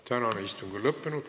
Tänane istung on lõppenud.